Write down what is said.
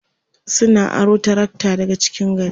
sun aro trakta daga cikin gari